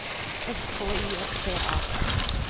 S K I S T A D